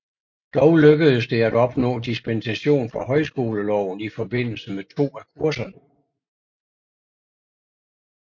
Dog lykkedes det at opnå dispensation fra højskoleloven i forbindelse med to af kurserne